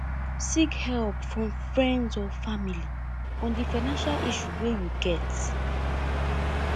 seek help from friends or family on di financial issue wey you get